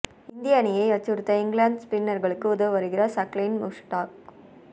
இந்திய அணியை அச்சுறுத்த இங்கிலாந்து ஸ்பின்னர்களுக்கு உதவ வருகிறார் சக்லைன் முஷ்டாக்